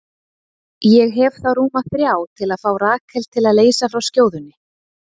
Ég hef þá rúma þrjá til að fá Rakel til að leysa frá skjóðunni.